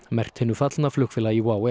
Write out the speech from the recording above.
merkt hinu fallna flugfélagi WOW